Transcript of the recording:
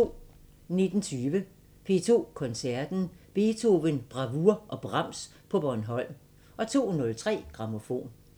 19:20: P2 Koncerten – Beethoven, Bravour og Brahms på Bornholm 02:03: Grammofon